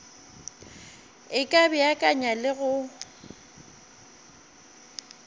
e ka beakanya le go